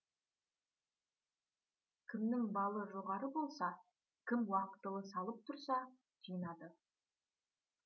кімнің балы жоғары болса кім уақытылы салып тұрса жинады